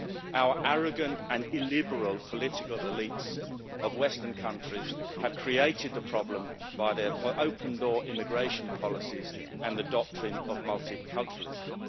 Our arrogant and illiberal political elites of Western countries have created the problem by their open door immigration policies and the doctrine of multiculturalism.